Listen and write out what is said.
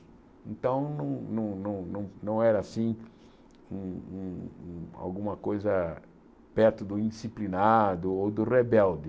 Então, não não não não era assim um um um alguma coisa perto do indisciplinado ou do rebelde.